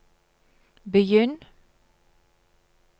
begynn